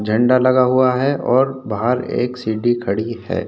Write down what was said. झंडा लगा हुआ है और बाहर एक सीढ़ी खड़ी है।